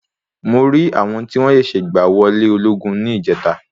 Mo rí àwọn tí wọ́n ṣẹ̀ṣẹ̀ gba wò ilé ológun ní ílìjẹ́ta.